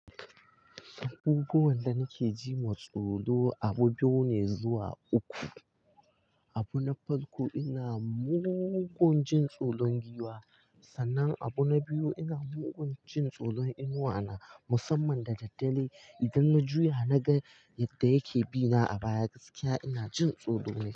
Abubuwan da nake ji matsoro, abu biyu ne zuwa uku. Abu na farko ina mugun jin tsoron giwa, sannan abu na biyu ina mugun jin tsoron inuwa na musamman da daddare idan na juya na ga yadda yake bina a baya gaskiya ina jin tsoro.